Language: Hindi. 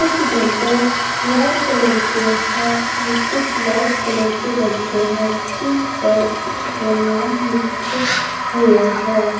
कुछ डब्बे रेड कलर के है और कुछ व्हाइट कलर के डब्बे हैं जिन पर उनके नाम लिखे हुए हैं।